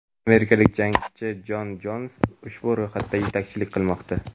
amerikalik jangchi Jon Jons ushbu ro‘yxatda yetakchilik qilmoqda.